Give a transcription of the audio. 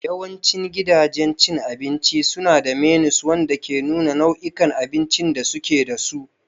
Yawancin gidajen cin abinci suna da menus wanda ke nuna nau'ikan abincin da suke da su.